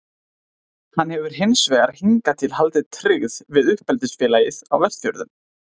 Hann hefur hins vegar hingað til haldið tryggð við uppeldisfélagið á Vestfjörðum.